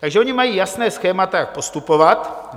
Takže oni mají jasná schémata, jak postupovat.